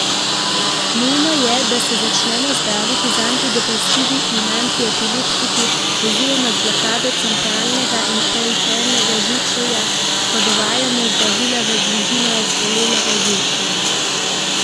Nujno je, da se začnemo zdraviti z antidepresivi in antiepileptiki oziroma z blokado centralnega in perifernega živčevja, ko dovajamo zdravila v bližino razbolelega živčevja.